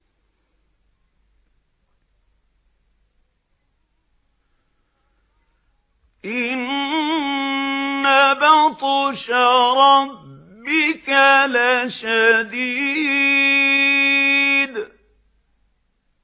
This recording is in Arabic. إِنَّ بَطْشَ رَبِّكَ لَشَدِيدٌ